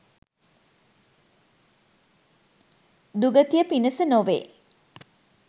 දුගතිය පිණිස නොවේ